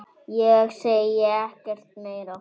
Ég segi ekkert meira.